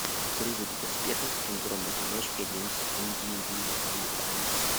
призрак в доспехах синдром одиночки одиннадцать индивидуалистов